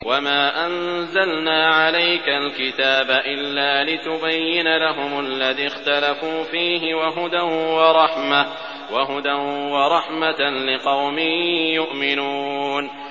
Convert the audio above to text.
وَمَا أَنزَلْنَا عَلَيْكَ الْكِتَابَ إِلَّا لِتُبَيِّنَ لَهُمُ الَّذِي اخْتَلَفُوا فِيهِ ۙ وَهُدًى وَرَحْمَةً لِّقَوْمٍ يُؤْمِنُونَ